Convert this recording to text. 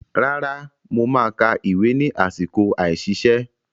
Rárá, mo máa ka ìwé ni àsìkò àìsiṣẹ́.